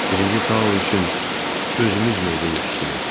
Birinci Tao üçün özümüz meyvə yetişdirək.